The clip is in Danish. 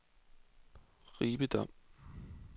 Ribe Dom